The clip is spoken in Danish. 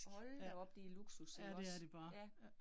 Hold da op det luksus ikke også? Ja